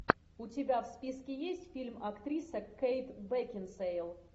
у тебя в списке есть фильм актриса кейт бекинсейл